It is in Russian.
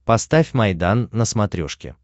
поставь майдан на смотрешке